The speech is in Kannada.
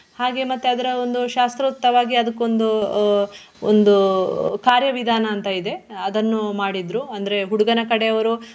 ಹಾಗೆ ಮತ್ತೆ ಅದರ ಒಂದು ಶಾಸ್ತ್ರೋತವಾಗಿ ಅದಕ್ಕೊಂದು ಆಹ್ ಒಂದು ಕಾರ್ಯವಿಧಾನ ಅಂತ ಇದೆ ಅದನ್ನು ಮಾಡಿದ್ರು ಅಂದ್ರೆ ಹುಡುಗನ ಕಡೆಯವರು.